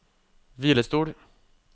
hvilestol